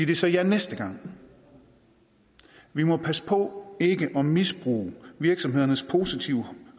de så ja næste gang vi må passe på ikke at misbruge virksomhedernes positive